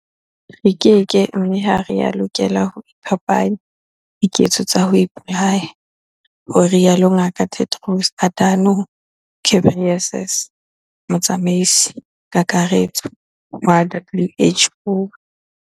Re keke mme ha re a lokela ho iphapanya diketso tsa ho ipolaya, ho rialo Ngaka Tedros Adhano m Ghebreyesus, Motsamaisi-Kakaretso wa WHO.